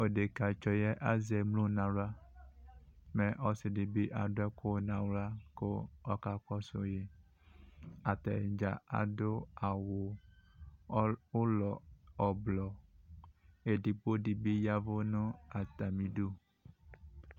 Tʋ edekatsɔ yɛ azɛ emlo n'aɣla Mɛ ɔsi di bi adʋ ɛkʋ n'aɣla kʋ ɔkakɔsʋ yi Atadza adʋ awʋ ʋlɔ ʋblʋɔ Edigbo di bi yavʋ nʋ atami idu